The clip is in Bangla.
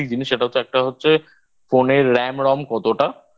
সেটা হচ্ছে একটা হচ্ছে Phone এর RAM ROM কতটা